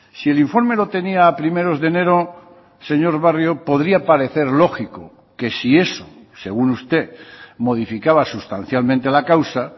si el informe lo tenía a primeros de enero señor barrio podría parecer lógico que si eso según usted modificaba sustancialmente la causa